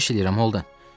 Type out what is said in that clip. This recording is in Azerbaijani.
Xahiş eləyirəm, Holden.